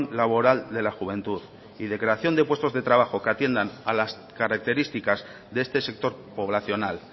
laboral de la juventud y de creación de puestos de trabajo que atiendan a las características de este sector poblacional